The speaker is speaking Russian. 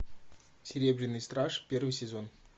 серебряный страж первый сезон